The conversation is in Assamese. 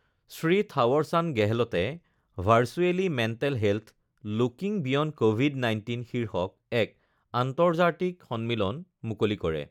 শ্ৰী থাৱাৰ চান্দ গেহলটে virtually mental health looking beyond Covid ১৯ শীৰ্ষক এক আন্তৰ্জাতিক সন্মিলন মুকলি কৰে